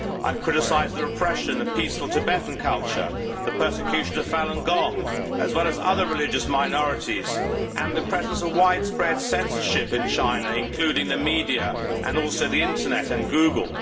I have criticised the repression of peaceful Tibetan culture, the persecution of Falun Gong, as well as other religious minorities, and the presence of widespread censorship in China, including the media and also the internet and Google.